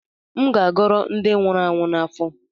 M ga-agoro ndi nwuru anwụ n’afọ